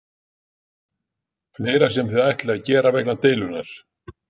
Berghildur: Fleira sem þið ætlið að gera vegna deilunnar?